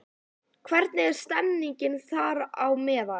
Hvernig er stemmingin þeirra á meðal?